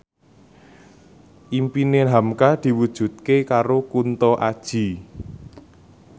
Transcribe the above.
impine hamka diwujudke karo Kunto Aji